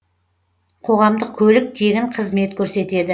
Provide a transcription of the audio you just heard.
қоғамдық көлік тегін қызмет көрсетеді